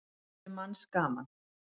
Maður er manns gaman.